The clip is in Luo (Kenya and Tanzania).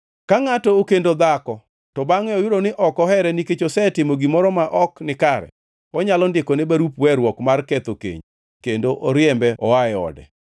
Ka ngʼato okendo dhako, to bangʼe oyudo ni ok ohere nikech osetimo gimoro ma ok nikare, onyalo ndikone barup weruok mar ketho keny, kendo oriembe oa e ode.